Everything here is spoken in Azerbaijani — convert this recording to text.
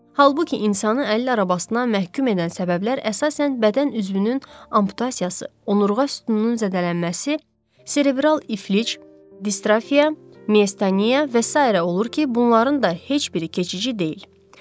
Halbuki insanı əlillər arabasına məhkum edən səbəblər əsasən bədən üzvünün amputasiyası, onurğa sütununun zədələnməsi, serebral iflic, distrofiya, miasteniya və sairə olur ki, bunların da heç biri keçici deyil.